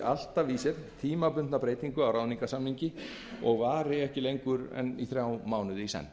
tímabundin breyting á ráðningarsamningi sem felur í sér hlutabætur vari ekki lengur en þrjá mánuði í senn